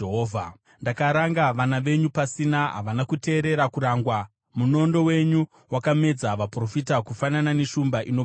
“Ndakaranga vana venyu pasina; havana kuteerera kurangwa. Munondo wenyu wakamedza vaprofita, kufanana neshumba inoparadza.